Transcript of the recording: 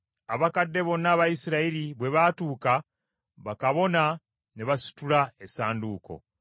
Abakadde bonna aba Isirayiri bwe baatuuka, bakabona ne basitula essanduuko,